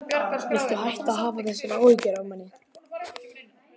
Viltu hætta að hafa þessar áhyggjur af manni!